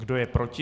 Kdo je proti?